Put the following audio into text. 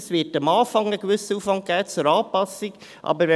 Es wird am Anfang einen gewissen Aufwand für die Anpassung geben.